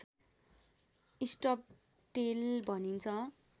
stubtail भनिन्छ